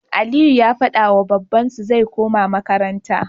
Aliyu ya fadawa babban su zai koma makaranta